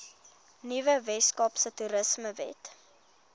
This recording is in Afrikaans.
nuwe weskaapse toerismewet